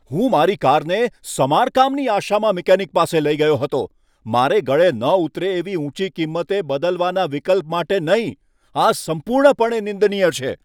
હું મારી કારને સમારકામની આશામાં મિકેનિક પાસે લઈ ગયો હતો, મારે ગળે ન ઉતરે એવી ઊંચી કીમતે બદલવાના વિકલ્પ માટે નહીં, આ સંપૂર્ણપણે નિંદનીય છે.